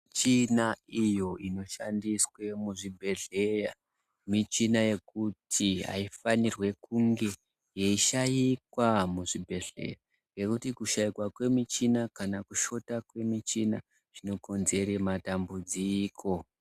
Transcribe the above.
Michina iyo inoshandiswe muzvibhedhlera , michina yekuti aifanirwi kunge yeishaikwa muzvibhedhlera ngekuti kushaikwa kwemichina kana kushota kwemichina zvinokonzera madambudziko.